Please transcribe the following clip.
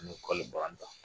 N bɛ kɔli bɔanta